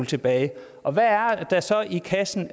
tilbage og hvad er der så i kassen